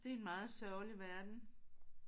Det er en meget sørgelig verden